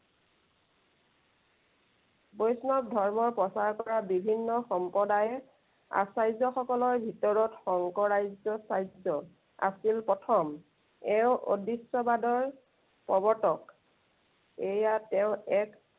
বৈষ্ণৱ ধৰ্ম প্ৰচাৰ কৰা বিভিন্ন সম্প্ৰদায়, আচাৰ্যসকলৰ ভিতৰত শংকৰাজ্য় চাৰ্য আছিল প্ৰথম। এওঁ অদৃষ্টবাদৰ প্ৰৱৰ্তক। এইয়া তেওঁ এক।